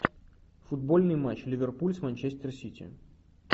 футбольный матч ливерпуль с манчестер сити